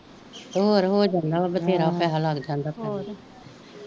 ਹੋਰ ਹੋ ਜਾਂਦਾ ਵਧੇਰਾ ਪੈਹਾ ਲੱਗ ਜਾਂਦਾ ਹੋਰ,